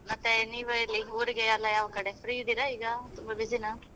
ಮತ್ತೆ ನೀವು ಎಲ್ಲಿ ಊರಿಗೆ ಯಾವ ಕಡೆ free ಇದ್ದೀರಾ ತುಂಬಾ busy ನಾ?